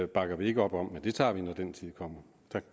bakker vi ikke op om men det tager vi når den tid kommer